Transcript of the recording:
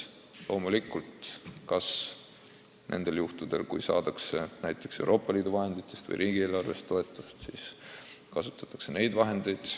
Loomulikult, kui nendel perioodidel saadakse näiteks Euroopa Liidu fondidest või riigieelarvest toetust, siis kasutatakse neid vahendeid.